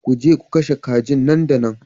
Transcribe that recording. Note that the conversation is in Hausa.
Ku je ku kashe kajin nan da nan